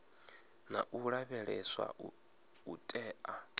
na u lavheleswa u tea